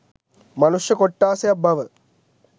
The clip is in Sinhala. මනුෂ්‍ය කොට්ඨාසයක් බව